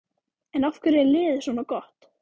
En af hverju er liðið svona gott?